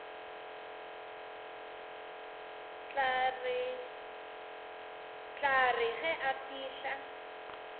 tla re ge a fihla